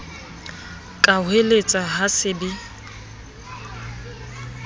ka hoeletsa ha se be